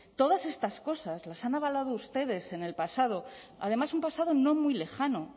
todas estas cosas las han hablado ustedes en el pasado además un pasado no muy lejano